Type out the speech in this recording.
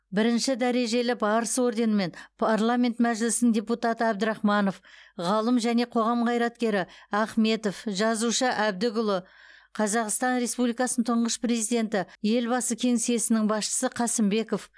бірінші дәрежелі барыс орденімен парламент мәжілісінің депутаты абдрахманов ғалым және қоғам қайраткері ахметов жазушы әбдікұлы қазақстан республикасының тұңғыш президенті елбасы кеңсесінің басшысы қасымбеков